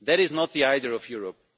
nations. That is not the idea